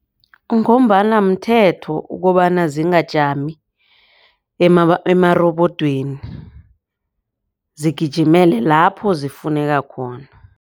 Ngombana mthetho ukobana zingajami emarobodweni zigijimele lapho zifuneka khona.